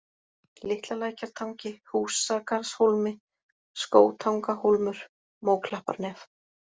Litlalækjartangi, Húsagarðshólmi, Skógtangahólmur, Móklapparnef